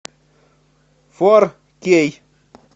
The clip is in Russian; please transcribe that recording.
фор кей